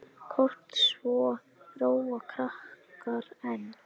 Kort svo róa krakkar enn.